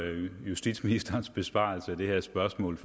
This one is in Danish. at høre justitsministerens besvarelse af det her spørgsmål